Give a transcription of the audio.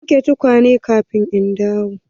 Ka wanke tukwane kafin in dawo!